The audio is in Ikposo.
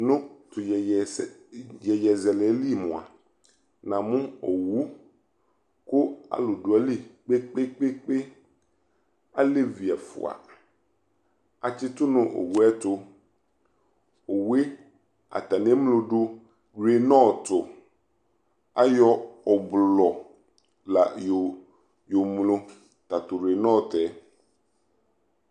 Nʋ tʋ iyeyezɛlɛ yɛ li moa, namʋ owʋ kʋ alʋ dʋ ayili kpekpekpekpe Alɛvi ɛfua atsitʋ nʋ owʋ ɛ tʋ Owu e, atani eŋlo dʋ nʋ rinɔtʋ Ayɔ ʋblʋɔ la yɔŋlo tatʋ rinɔtʋ ɛ